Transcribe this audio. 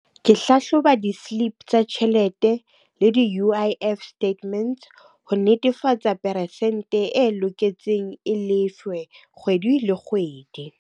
Ke hlahloba di-slip tsa tjhelete le di-U_I_F statements ho netefatsa peresente e loketseng e lefwe kgwedi le kgwedi.